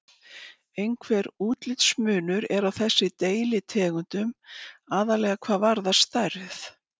Einhver útlitsmunur er á þessum deilitegundum, aðallega hvað varðar stærð.